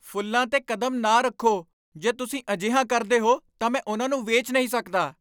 ਫ਼ੁੱਲਾਂ 'ਤੇ ਕਦਮ ਨਾ ਰੱਖੋ! ਜੇ ਤੁਸੀਂ ਅਜਿਹਾ ਕਰਦੇ ਹੋ ਤਾਂ ਮੈਂ ਉਨ੍ਹਾਂ ਨੂੰ ਵੇਚ ਨਹੀਂ ਸਕਦਾ!